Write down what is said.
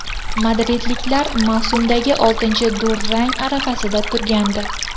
Madridliklar mavsumdagi oltinchi durang arafasida turgandi.